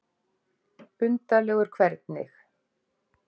Undarlegur hvernig?